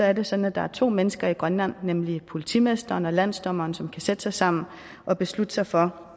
er det sådan at der er to mennesker i grønland nemlig politimesteren og landsdommeren som kan sætte sig sammen og beslutte sig for